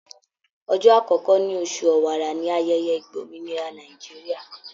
Ọjọ́ àkọ́kọ́ ní oṣù Ọ̀wàrà ní ayẹyẹ ìgbòmìnira Nàìjíríà.